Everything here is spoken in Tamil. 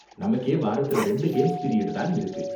நமக்கே வாரத்துல ரெண்டு கேம்ஸ் பீரியட் தான் இருக்கு.